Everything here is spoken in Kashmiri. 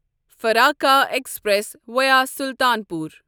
Farakka express via Sultanpur